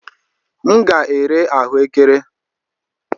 M ga-ere ahụekere.